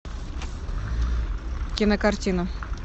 кинокартина